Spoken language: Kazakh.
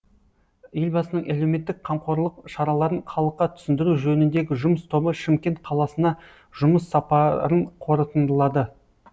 елбасының әлеуметтік қамқорлық шараларын халыққа түсіндіру жөніндегі жұмыс тобы шымкент қаласына жұмыс сапарын қорытындылады